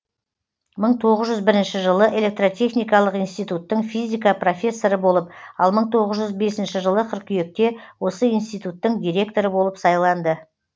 мың тоғыз жүз бірінші жылы электротехникалық институттың физика профессоры болып ал мың тоғыз жүз бесінші жылы қыркүйекте осы институттың директоры болып сайланды